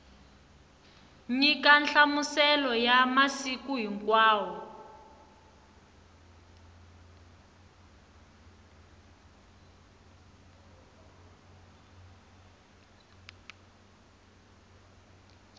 nyika nhlamuselo ya masiku hinkwawo